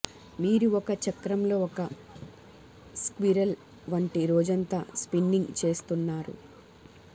మీరు ఒక చక్రంలో ఒక స్క్విరెల్ వంటి రోజంతా స్పిన్నింగ్ చేస్తున్నారు